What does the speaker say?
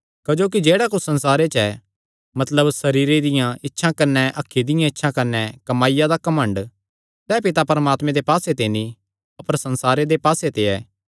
क्जोकि जेह्ड़ा कुच्छ संसारे च ऐ मतलब सरीरे दियां इच्छां कने अखीं दियां इच्छां कने कमाईया दा घमंड सैह़ पिता परमात्मे दे पास्से ते नीं अपर संसारे दे पास्से ते ऐ